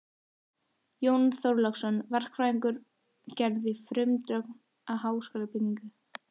Jón Þorláksson, verkfræðingur, gerði frumdrög að háskólabyggingu